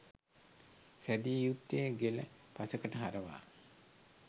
සෑදිය යුත්තේ ගෙල පසෙකට හරවා